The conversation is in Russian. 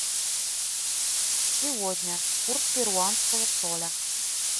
сегодня курс перуанского соля